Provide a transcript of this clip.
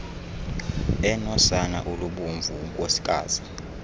enosana olubomvu unkosikazi